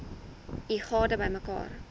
u gade bymekaar